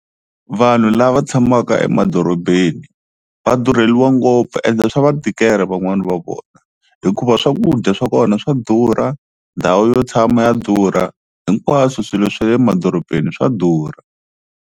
Vanhu lava tshamaka emadorobeni va durheliwa ngopfu ende swa va tikela van'wani va vona hikuva swakudya swa kona swa durha, ndhawu yo tshama ya durha hinkwaswo swilo swa le emadorobeni swa durha.